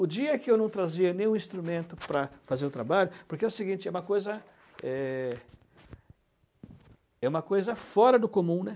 O dia que eu não trazia nenhum instrumento para fazer o trabalho, porque é o seguinte, é uma coisa é é uma coisa fora do comum, né